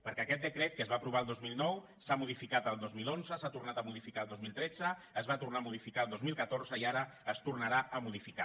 perquè aquest decret que es va apro·var el dos mil nou s’ha modificat el dos mil onze s’ha tornat a mo·dificar el dos mil tretze es va tornar a modificar el dos mil catorze i ara es tornarà a modificar